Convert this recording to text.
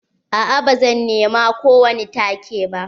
A'a ba zan nema ko wani take ba.